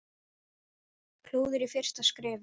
Klúður í fyrsta skrefi.